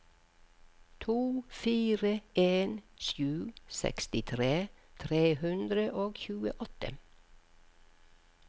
to fire en sju sekstitre tre hundre og tjueåtte